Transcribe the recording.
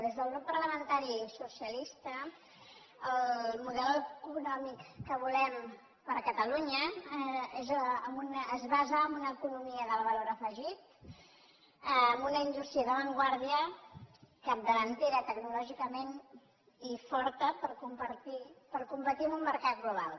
des del grup parlamentari socialista el model econòmic que volem per a catalunya es basa en una economia del va·lor afegit en una indústria d’avantguarda capdavante·ra tecnològicament i forta per competir en un mercat global